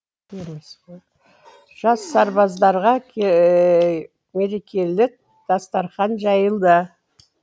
жас сарбаздарға мерекелік дастархан жайылды